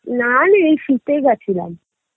না রে এই শীতেই গেছিলাম